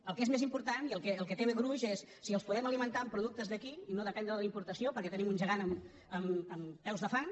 el que és més important i el que té gruix és si els podem alimentar amb productes d’aquí i no dependre de la importació perquè tenim un gegant amb peus de fang